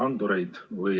Austatud Riigikogu!